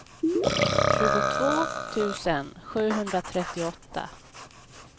tjugotvå tusen sjuhundratrettioåtta